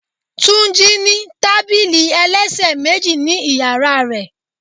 Túnjí ní tábìlì ẹlẹ́sẹ̀ méjì ni ìyàrá rẹ̀.